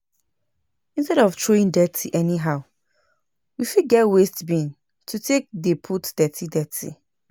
Instead of throwing dirty anyhow, we fit get waste bin to take dey put dirty dirty